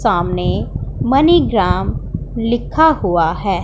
सामने MoneyGram लिखा हुआ है।